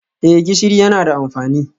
Eh gishiri yana da amfani